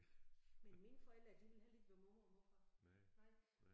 Men mine forældre de ville heller ikke være mormor og morfar nej